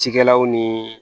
Cikɛlaw ni